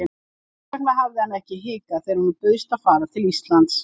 Þess vegna hafði hann ekki hikað þegar honum bauðst að fara til Íslands.